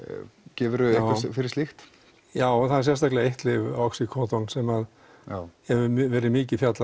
gefur þú eitthvað fyrir slíkt já það er sérstaklega eitt lyf sem hefur verið mikið fjallað